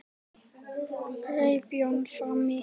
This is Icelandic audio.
greip Jón fram í.